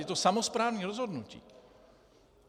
Je to samosprávní rozhodnutí.